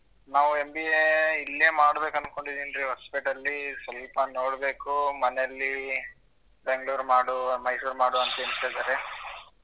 ನಾವು MBA ಇಲ್ಲೇ ಮಾಡ್ಬೇಕು ಅನ್ಕೊಂಡಿದೀನ್ ರೀ ಹೊಸಪೇಟೆ ಅಲ್ಲಿ ಸಲ್ಪ ನೋಡ್ಬೇಕು ಮನೆಲ್ಲಿ ಬೆಂಗಳೂರು ಮಾಡು ಮೈಸೂರ್ ಮಾಡು ಅಂತ್ ಹೇಳ್ತಿದ್ದಾರೆ.